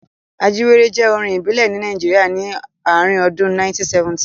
Ajíwéré jẹ́ orin ìbílẹ̀ ní Nàìjíríà ni ààrin ọdún 1970.